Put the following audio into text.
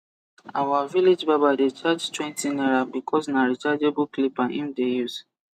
our village barber de charge twenty naira bcos na rechargeable clipper him de use